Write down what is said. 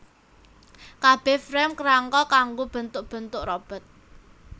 Kabeh Frame krangka kanggo bentuk bentu robot